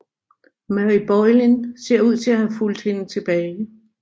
Mary Boleyn ser ud til at have fulgt hende tilbage